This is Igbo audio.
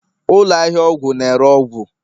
ụlọ ahịa ọgwụ na-ere ọgwụ